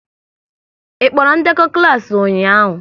Ị kpọrọ ndekọ klas ụnyaahụ?